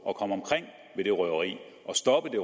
at komme omkring ved røveriet og stoppe